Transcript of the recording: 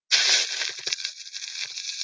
өзбек ағайын досым қазақтан болсын деп мақалдайды